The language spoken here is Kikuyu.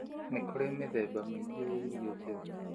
Nĩ kũrĩ mĩthemba mĩingĩ ya irio njega.